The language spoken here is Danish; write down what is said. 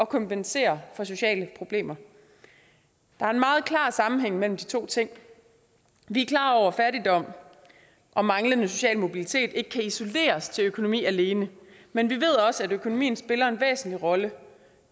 kompensere for sociale problemer der er en meget klar sammenhæng mellem de to ting vi er klar over at fattigdom og manglende social mobilitet ikke kan isoleres til økonomi alene men vi ved også at økonomien spiller en væsentlig rolle